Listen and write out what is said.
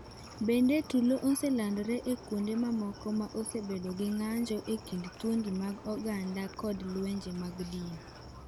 Bende, tulo oselandore e kuonde mamoko ma osebedo gi ng’anjo e kind dhoudi mag oganda kod lwenje mag dini.